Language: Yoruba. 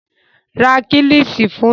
Ra Kílíṣí fún mi